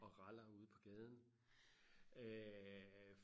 og raller ude på gaden øh